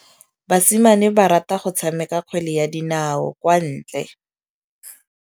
Basimane ba rata go tshameka kgwele ya dinaô kwa ntle.